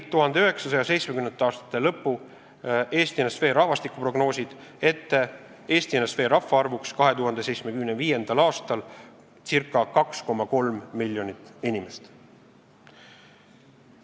1970. aastate lõpu ENSV rahvastikuprognoosid nägid Eesti NSV rahvaarvuks 2075. aastal ette ca 2,3 miljonit inimest.